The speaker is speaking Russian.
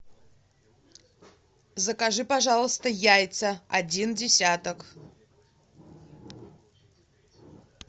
закажи пожалуйста яйца один десяток